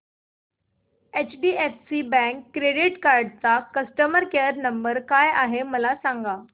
HDFC bank credit card चा customer care number काय आहे मला सांगा